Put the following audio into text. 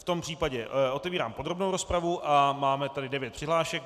V tom případě otevírám podrobnou rozpravu a máme tady devět přihlášek.